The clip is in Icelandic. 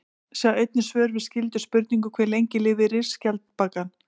Sjá einnig svör við skyldum spurningum: Hve lengi lifir risaskjaldbakan?